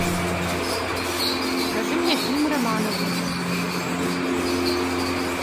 покажи мне фильм романовы